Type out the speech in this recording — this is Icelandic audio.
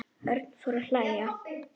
Örn fór að hlæja.